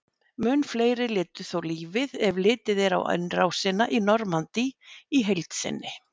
Mun fleiri létu þó lífið ef litið er á innrásina í Normandí í heild sinni.